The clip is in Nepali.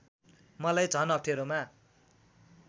मलाई झन् अप्ठेरोमा